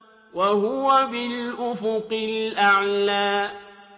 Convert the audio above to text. وَهُوَ بِالْأُفُقِ الْأَعْلَىٰ